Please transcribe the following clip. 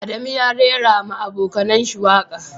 Adamu ya raira ma abokanayen shi waka.